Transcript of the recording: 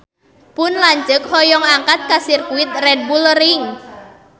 Pun lanceuk hoyong angkat ka Sirkuit Red Bull Ring